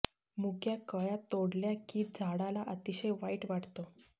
मुक्या कळय़ा तोडल्या की झाडाला अतिशय वाईट वाटतं